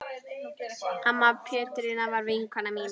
Amma Petrína var vinkona mín.